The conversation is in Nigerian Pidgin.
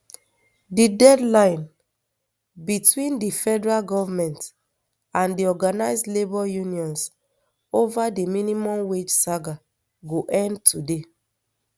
di deadline between di federal goment and di organised labour unions ova di minimum wage saga go end today